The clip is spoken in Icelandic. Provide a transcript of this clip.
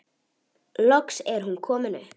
Loks er hún komin upp.